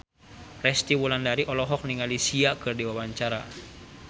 Resty Wulandari olohok ningali Sia keur diwawancara